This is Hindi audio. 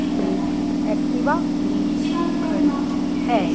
एक एक्टिवा भी खड़ी है।